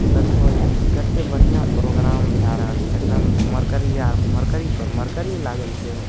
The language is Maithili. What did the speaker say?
देखो ई कते बढ़िया प्रोग्राम भै रहल छे एकदम मरकरी आर मरकरी पर मरकरी लागल छे --